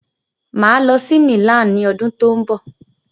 Mà á lọ sí Milan ni ọdún tó ń bọ̀.